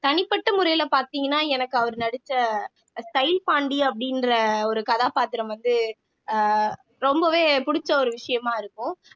தனிப்பட்ட முறையில பாத்தீங்கன்னா எனக்கு அவர் நடிச்ச ஸ்டைல் பாண்டி அப்படின்ற ஒரு கதாபாத்திரம் வந்து அஹ் ரொம்பவே புடிச்ச ஒரு விஷயமா இருக்கும்